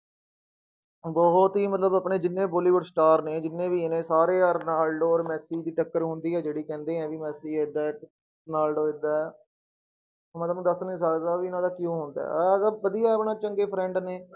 ਬਹੁਤ ਹੀ ਮਤਲਬ ਆਪਣੇ ਜਿੰਨੇ ਬੋਲੀਵੁਡ star ਨੇ, ਜਿੰਨੇ ਵੀ ਨੇ ਸਾਰੇ ਆਹ ਰੋਨਾਲਡੋ ਔਰ ਮੈਸੀ ਦੀ ਟੱਕਰ ਹੁੰਦੀ ਹੈ ਜਿਹੜੀ, ਕਹਿੰਦੇ ਹੈ ਵੀ ਮੈਸੀ ਏਦਾਂ ਹੈ, ਰੋਨਾਲਡੋ ਏਦਾਂ ਹੈ ਮੈਂ ਤੁਹਾਨੂੰ ਦੱਸ ਨੀ ਸਕਦਾ ਵੀ ਇਹਨਾਂ ਦਾ ਕਿਉਂ ਵਧੀਆ ਆਪਣਾ ਚੰਗੇ friend ਨੇ।